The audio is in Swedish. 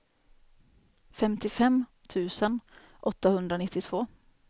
femtiofem tusen åttahundranittiotvå